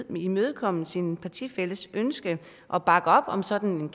vil imødekomme sin partifælles ønske og bakke op om sådan